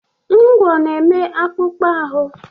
Ngwọ́ na-eme akpụkpọ ahụ.